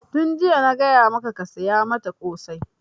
Tun jiya na gaya maka ka saya mata ƙosai!